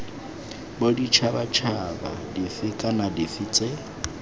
boditšhabatšhaba dife kana dife tse